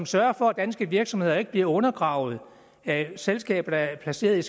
sørger for at danske virksomheder ikke bliver undergravet af selskaber der er placeret i